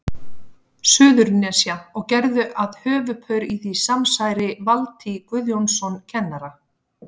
Suðurnesja, og gerðu að höfuðpaur í því samsæri Valtý Guðjónsson kennara.